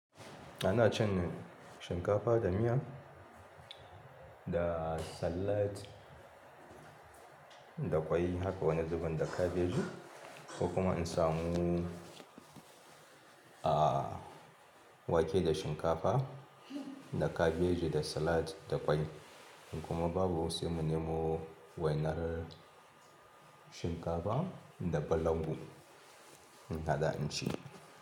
Ana cin shinkafa da miya da salad da ƙwai, haka wani zubin da kabeji. Ko kuma in samu wake da shinkafa, da kabeji da salad, da kwai. Kuma babu wai sai mu nemo wainar shinkafa da balangu, ina da in ci.